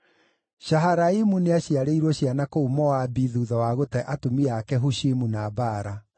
Shaharaimu nĩaciarĩirwo ciana kũu Moabi thuutha wa gũte atumia ake Hushimu na Baara.